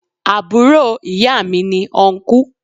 Àbúro ìya mi ni Ọnkú